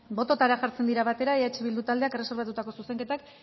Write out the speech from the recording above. botoetara jartzen dira batera eh bildu taldeak erreserbatutako zuzenketak